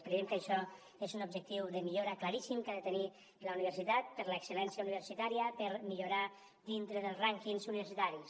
creiem que això és un objectiu de millora claríssim que ha de tenir la universitat per a l’excellència universitària per millorar dintre dels rànquings universitaris